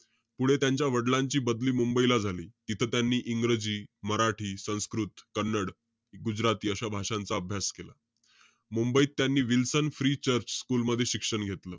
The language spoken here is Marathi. पुढे त्यांच्या वडिलांची बदली मुंबईला झाली. तिथं त्यांनी इंग्रजी, मराठी, संस्कृत, कन्नड, गुजराथी अशा भाषांचा अभ्यास केला. मुंबईत त्यांनी विल्सन प्री चर्च स्कुल मध्ये शिक्षण घेतलं.